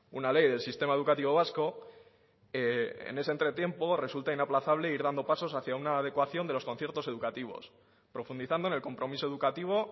una ley del sistema educativo vasco en ese entre tiempo resulta inaplazable ir dando pasos hacia una adecuación de los conciertos educativos profundizando en el compromiso educativo